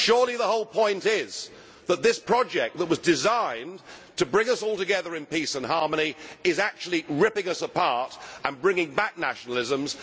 Surely the whole point is that this project that was designed to bring us all together in peace and harmony is actually ripping us apart and bringing back nationalisms.